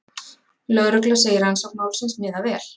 Lögregla segir rannsókn málsins miða vel